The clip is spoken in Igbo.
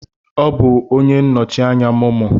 Ọ bụ onye nnọchi anya MoMo.